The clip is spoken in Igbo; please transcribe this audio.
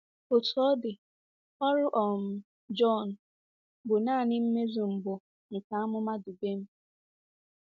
Otú ọ dị, ọrụ um Jọn bụ nanị mmezu mbụ nke amụma Dubem.